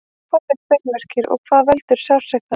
hvað eru beinverkir og hvað veldur sársaukanum